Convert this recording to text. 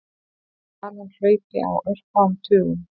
Talan hlaupi á örfáum tugum.